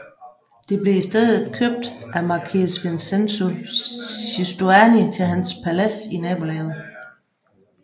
Det blev i stedet købt af marquese Vincenzo Giustiani til hans palads i nabolaget